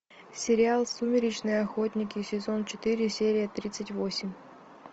сериал сумеречные охотники сезон четыре серия тридцать восемь